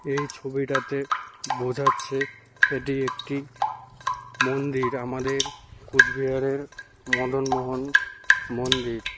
এই ছবিটাতে বোঝাচ্ছে এটি একটি মন্দির আমাদের কোচবিহারের মদনমোহন মন্দির।